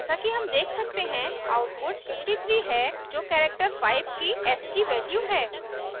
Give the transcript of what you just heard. जैसा कि हम देख सकते हैं output 53 है जो character 5 की ascii value है